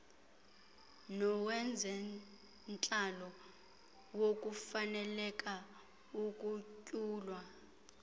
nowezentlalo wokufaneleka ukunyulwa